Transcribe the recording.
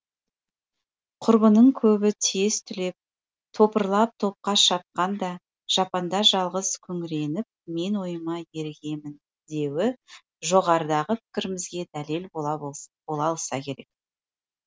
құрбының көбі тез түлеп топырлап топқа шапқанда жапанда жалғыз күңіреніпмен ойыма ергемін деуі жоғарыдағы пікірімізге дәлел бола алса керек